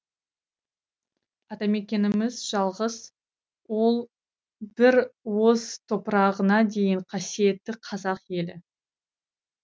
атамекеніміз жалғыз ол бір уыс топырағына дейін қасиетті қазақ елі